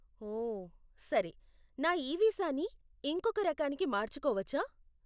ఓ, సరే. నా ఈ వీసాని ఇంకొక రకానికి మార్చుకోవచ్చా?